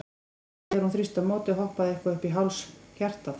Hann þrýsti, og þegar hún þrýsti á móti, hoppaði eitthvað upp í háls hjartað?